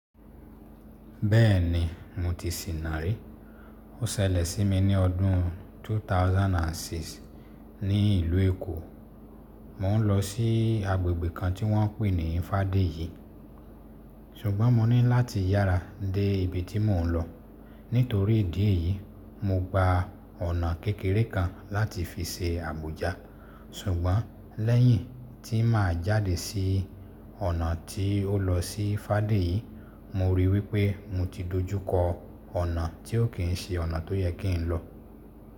Bẹ́ẹ̀ni mo ti sìna rí. Ó ṣẹlẹ̀ sí mi ní ọdún 2006 ní ìlú Èkó. Mò ń lọ sí agbègbè kan tí wọ́n ń pè ní Fádẹ́yì ṣùgbọ́n mo ní láti yára dé ibi tí mò ń lọ. Nítorí ìdí èyí, mo gba ọ̀nà kékeré kan láti fi ṣe Àbújá. Ṣùgbọ́n lẹ́yìn tí màá jáde sí ọ̀nà tí ó lọ sí Fádẹ́yì, mo ríi wípé mo ti dojú kọ ọ̀nà tí ó kì ń ṣe ọ̀nà tó yẹ kí n lọ.